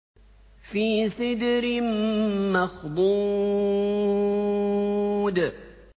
فِي سِدْرٍ مَّخْضُودٍ